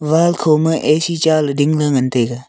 wall kho ma A C chale dingle ngan taiga.